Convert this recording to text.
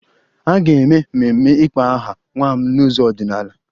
A ga-eme ememe ịkpọ aha nwa m n'ụzọ ọdịnala